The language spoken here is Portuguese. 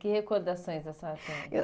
Que recordações da sua adolescência? Eu